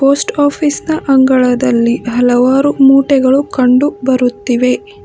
Post office ನ ಅಂಗಳದಲ್ಲಿ ಹಲವಾರು ಮೂಟೆಗಳು ಕಂಡು ಬರುತ್ತಿವೆ.